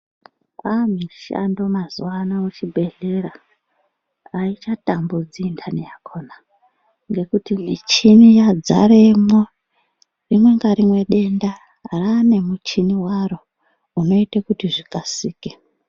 Ah mishando mazuvano muchibhehlera haichatambudzi intani yakona ngekuti michini yadzaremwo. Rimwe ngarimwe denda raanemuchini waro, unoite kuti zvikasike.